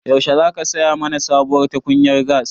Yaushe za ka saya mana sabuwar tukunyar gas?